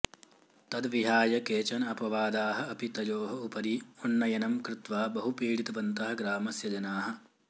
तद्विहाय केचन अपवादाः अपि तयोः उपरि उन्नयनं कृत्वा बहु पीडितवन्तः ग्रामस्य जनाः